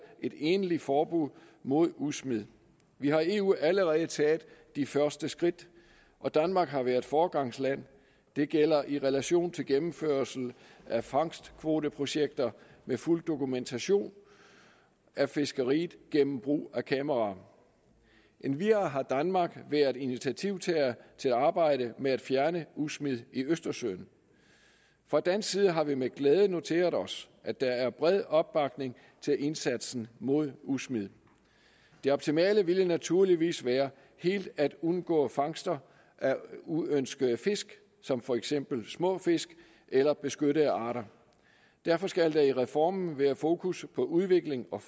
et egentligt forbud mod udsmid vi har i eu allerede taget de første skridt og danmark har været foregangsland det gælder i relation til gennemførelse af fangstkvoteprojekter med fuld dokumentation af fiskeriet gennem brug af kameraer endvidere har danmark været initiativtager til at arbejde med at fjerne udsmid i østersøen fra dansk side har vi med glæde noteret os at der er bred opbakning til indsatsen mod udsmid det optimale ville naturligvis være helt at undgå fangster af uønskede fisk som for eksempel små fisk eller beskyttede arter derfor skal der i reformen være fokus på udvikling og